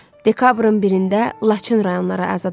Dekabrın 1-də Laçın rayonları azad edildi.